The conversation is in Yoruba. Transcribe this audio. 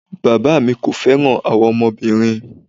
Bàbáà mi kò fẹ́ràn àwa ọmọbìnrin.